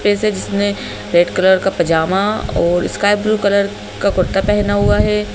जिसने red colour का पैजामा और स्काई ब्लू कलर का कुर्ता पहना हुआ है।